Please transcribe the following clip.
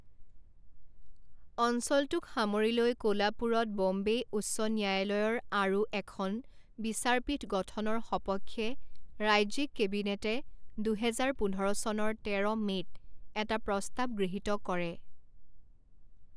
অঞ্চলটোক সামৰি লৈ কোলাপুৰত ব'ম্বে উচ্চ ন্যায়ালয়ৰ আৰু এখন বিচাৰপীঠ গঠনৰ সপক্ষে ৰাজ্যিক কেবিনেটে দুহেজাৰ পোন্ধৰ চনৰ তেৰ মে'ত এটা প্ৰস্তাৱ গৃহীত কৰে।